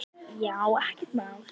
Já, ekkert mál!